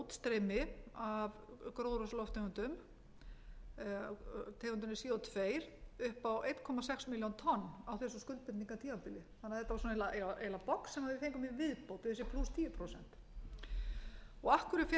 útstreymi af gróðurhúsalofttegundum tegundinni co tvö upp á einum sex milljón tonn á þessu skuldbindingartímabili þannig að þetta var eiginlega box sem fengum í viðbót við þessi plús tíu prósent af hverju fékk